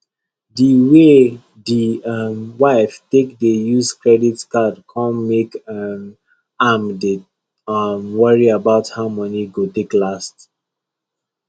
di way di um wife take dey use credit card come make um am dey um worry about how money go take last